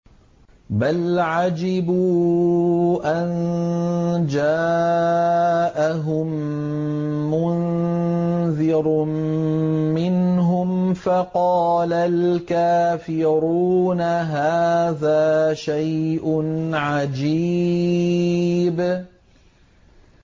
بَلْ عَجِبُوا أَن جَاءَهُم مُّنذِرٌ مِّنْهُمْ فَقَالَ الْكَافِرُونَ هَٰذَا شَيْءٌ عَجِيبٌ